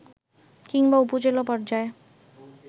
কিংবা উপজেলা পর্যায়ে